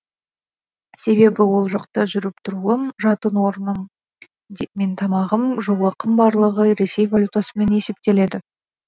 себебі ол жақта жүріп тұруым жатын орным мен тамағым жол ақым барлығы ресей валютасымен есептеледі